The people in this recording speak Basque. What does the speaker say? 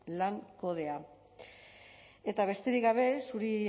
lan kodea eta besterik gabe zuri